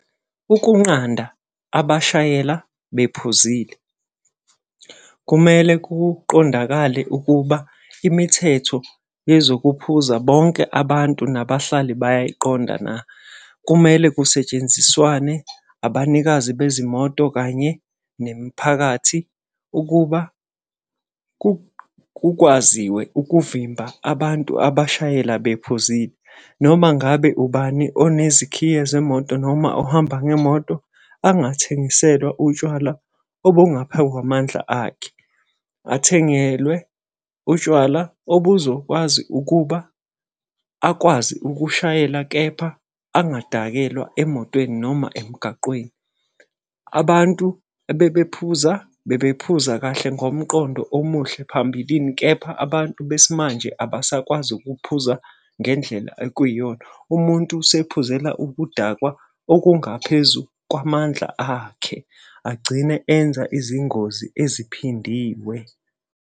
Ukunqanda abashayela bephuzile kumele kuqondakale ukuba imithetho yezokuphuza bonke abantu nabahlali bayayiqonda na? Kumele kusetshenziswane abanikazi bezimoto kanye nemiphakathi ukuba kwaziwe ukuvimba abantu abashayela bephuzile. Noma ngabe ubani onezikhiye zemoto noma ohamba ngemoto, angathengiselwa utshwala obungaphekwamandla akhe. Athengelwe utshwala obuzokwazi ukuba akwazi ukushayela kepha angadakelwa emotweni noma emgaqweni. Abantu ebebephuza bebephuza kahle ngomqondo omuhle phambilini, kepha abantu besimanje abasakwazi ukuphuza ngendlela ekwiyona. Umuntu usephuzela ukudakwa okungaphezu kwamandla akhe agcine enza izingozi eziphindiwe.